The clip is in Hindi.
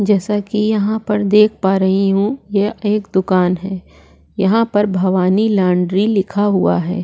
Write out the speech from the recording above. जैसा की यहाँ पर देख पा रही हु यहाँ एक दुकान है यहाँ पर भवानी लौंडरी लिखा हुआ है।